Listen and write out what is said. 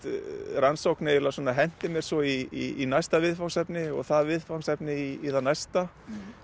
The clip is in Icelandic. rannsókn eiginlega henti mér svo í næsta viðfangsefni og það viðfangsefni í það næsta